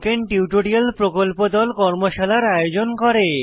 spoken tutorial প্রকল্প দল কর্মশালার আয়োজন করে